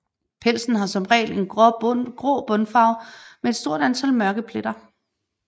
Pelsen har som regel en grå bundfarve med et stort antal mørke pletter